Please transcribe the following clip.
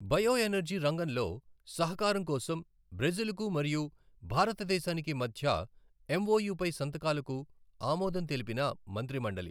bio energy రంగంలో సహకారం కోసం బ్రెజిల్ కు మరియు భారతదేశానికి మధ్య ఎంఒయు పై సంతకాలకు ఆమోదం తెలిపిన మంత్రిమండలి